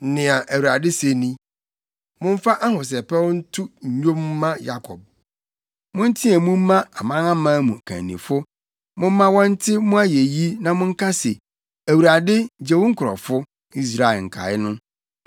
Nea Awurade se ni: “Momfa ahosɛpɛw nto nnwom mma Yakob; Monteɛ mu mma amanaman mu kannifo. Momma wɔnte mo ayeyi na monka se, ‘ Awurade, gye wo nkurɔfo, Israel nkae no.’